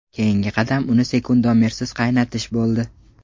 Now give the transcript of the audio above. Keyingi qadam uni sekundomersiz qaynatish bo‘ldi.